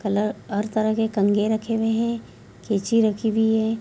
Colour हर तरह के कंघे रखी हुए हैं कैंची रखी हुई है।